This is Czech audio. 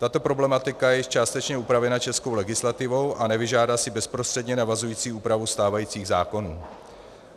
Tato problematika je již částečně upravena českou legislativou a nevyžádá si bezprostředně navazující úpravu stávajících zákonů.